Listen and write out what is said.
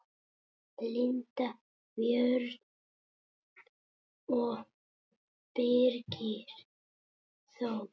Linda Björg og Birgir Þór.